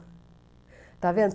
Está vendo?